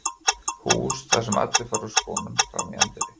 hús þar sem allir fara úr skónum frammi í anddyri.